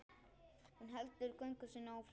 Hún heldur göngu sinni áfram.